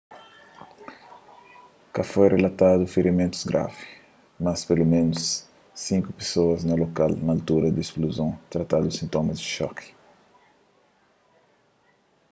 ka foi rilatadu firimentus gravi mas peloménus sinku pesoas na lokal na altura di ispluzon tratadu sintomas di xoki